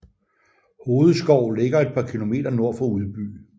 Hovedskov ligger et par kilometer nord for Udby